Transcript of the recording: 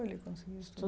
Ele conseguiu